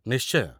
ନିଶ୍ଚୟ!